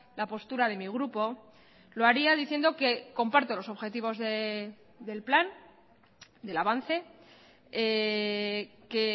la postura de mi grupo lo haría diciendo que comparto los objetivos del plan del avance que